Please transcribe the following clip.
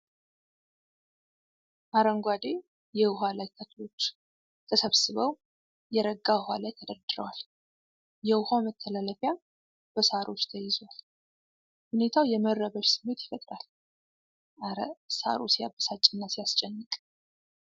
አረንጓዴ የውሃ ላይ ተክሎች ተሰብስበው የረጋ ውሃ ላይ ተደርድረዋል ። የውሃው መተላለፊያ በሳሮች ተይዟል ። ሁኔታው የመረበሽ ስሜት ይፈጥራል ። እረ! ሳሩ ሲያበሳጭና ሲያስጨንቅ!